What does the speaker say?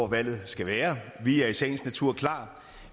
valget skal være vi er i sagens natur klar